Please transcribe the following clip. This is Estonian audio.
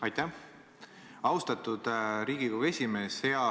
Aitäh, austatud Riigikogu esimees!